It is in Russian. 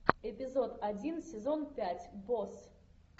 эпизод один сезон пять босс